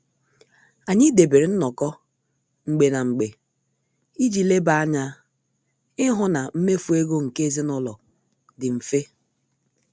Anyị debere nnoko mgbe na mgbe iji leba anya ịhụ na mmefu ego nke ezinụlọ dị mfe.